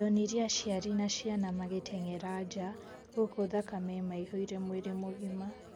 ndonire aciari na ciana magĩtengera nja gũkũ thakame imaihũire mwĩrĩ mũgima